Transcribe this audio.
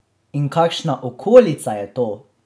In kakšna okolica je to!